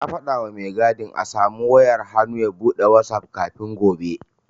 Na faɗawa mai gadin a samu wayar hannu ya buɗe asusun wazaf kafin gobe.